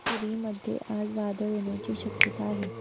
पुरी मध्ये आज वादळ येण्याची शक्यता आहे का